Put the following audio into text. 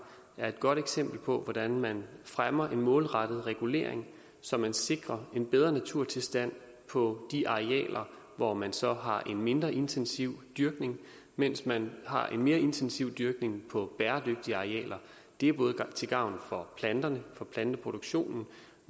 er et godt eksempel på hvordan man fremmer en målrettet regulering så man sikrer en bedre naturtilstand på de arealer hvor man så har en mindre intensiv dyrkning mens man har en mere intensiv dyrkning på bæredygtige arealer det er både til gavn for planterne for planteproduktionen